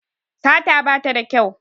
Sata bata da kyau